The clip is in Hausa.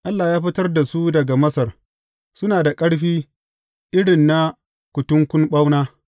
Allah ya fitar da su daga Masar; suna da ƙarfi iri na kutunkun ɓauna.